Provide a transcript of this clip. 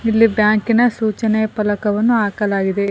ಇಲ್ಲಿ ಬ್ಯಾಂಕ್ ನ ಸೂಚನಾ ಫಲಕವನ್ನು ಹಾಕಲಾಗಿದೆ.